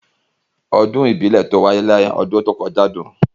Ọdún ìbílẹ̀ tó wáyé lọ́dún tó kọjá dùn.